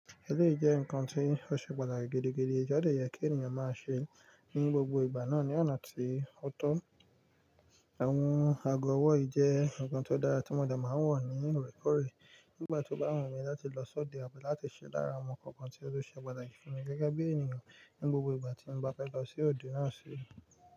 Èlé ìjẹ nǹkan tí ó ṣe pàtàkì gidigidi, ọ̀dọ́ ìyẹ́ kí ènìyàn máa ṣe ní gbogbo ìgbà náà ní ọ̀nà tí ó tọ́. Àwọn àgọ̀ ọwọ́ yì jẹ nǹkan tó dára tí mo dẹ̀ máa ń wọ̀ ní orẹ́kọ̀rẹ́ nígbà tó bá wù ú mí láti lọ sọ́dẹ̀ àbí láti ṣẹ́ lára àwọn nkankan tí ó tu ṣe pàtàkì fún mi gẹ́gẹ́ bí ènìyàn ní gbogbo ìgbà tí mo bá fẹ́ lọ sí òde náà sí.